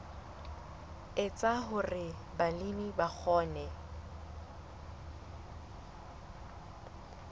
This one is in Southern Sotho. etsa hore balemi ba kgone